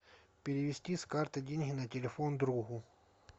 перевести с карты деньги на телефон другу